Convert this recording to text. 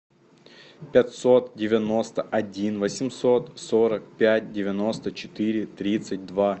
пятьсот девяносто один восемьсот сорок пять девяносто четыре тридцать два